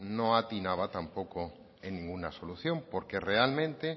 no atinaba tampoco en ninguna solución porque realmente